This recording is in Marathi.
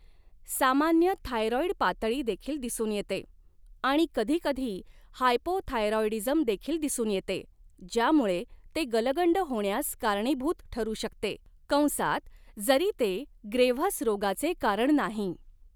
सामान्य थायरॉईड पातळी देखील दिसून येते आणि कधीकधी हायपोथायरॉईडीझम देखील दिसून येते, ज्यामुळे ते गलगंड होण्यास कारणीभूत ठरू शकते कंसात जरी ते ग्रेव्हस रोगाचे कारण नाही.